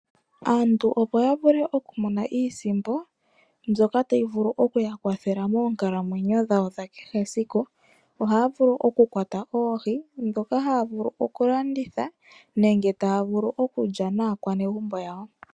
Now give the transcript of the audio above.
Aantu opo yavule okumona iisimpo mbyoka tayi vulu oku yakwathela monkalamwenyo dhawo dhakehe esiku , ohavulu oku kwata oohii dhoka havulu okulanditha nenge tavulu okulya naakwanegumbo yawo.